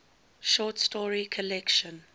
short story collection